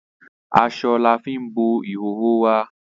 Asọ lafín bo ìhòòhò wa.